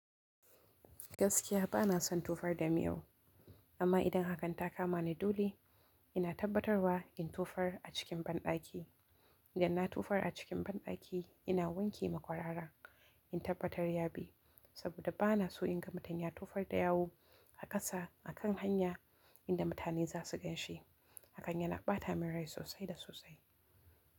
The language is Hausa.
Gaskiya ba na son tofar da mi yau, amma idan hakan ta kama ni dole ina tabbatarwa in tufar a cikin banɗaki. Idan na tofar a cikin banɗaki ina wanke makwarara in tabbatar ya bi, saboda ba na so in ga mutum ya tofar da yawu a ƙasa a kan hanya inda mutane za su gan shi. Hakan yana ɓata min rai sosai da sosai.